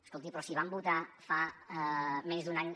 escolti però si van votar fa menys d’un any